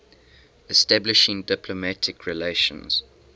establishing diplomatic relations